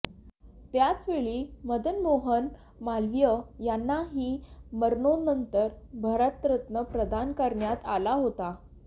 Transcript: त्याचवेळी मदन मोहन मालवीय यांनाही मरणोत्तर भारतरत्न प्रदान करण्यात आला होता